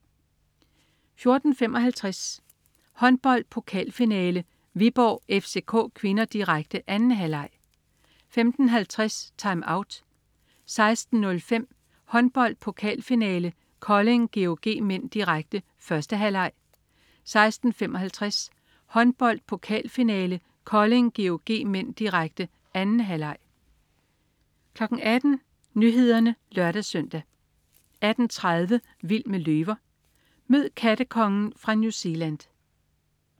14.55 Håndbold: Pokalfinale, Viborg-FCK (k), direkte. 2. halvleg 15.50 TimeOut 16.05 Håndbold: Pokalfinale, Kolding-GOG (m), direkte. 1. halvleg 16.55 Håndbold: Pokalfinale, Kolding-GOG (m), direkte. 2. halvleg 18.00 Nyhederne (lør-søn) 18.30 Vild med løver. Mød "kattekongen" fra New Zealand